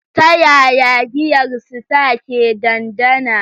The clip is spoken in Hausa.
Ta yaya giyar Star ke dandana?